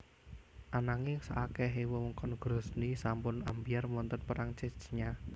Ananging saakehe wewengkon Grozny sampun ambyar wonten Perang Chechnya